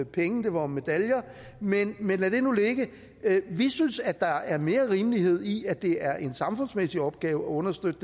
penge det var om medaljer men men lad det nu ligge vi synes at der er mere rimelighed i at det er en samfundsmæssig opgave at understøtte